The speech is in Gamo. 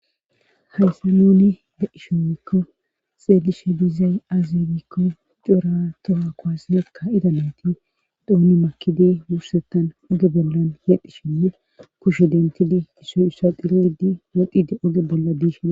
hayse nuni de ishowekko xeelishe diizay aazigikko cora toha kowaseekka ida nati dooni makidi wursettan oge bollan hedhishinne kusho dentidi gishoy issa dilidi modide oge bolla diishida